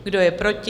Kdo je proti?